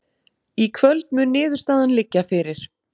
Í kvöld mun niðurstaðan liggja fyrir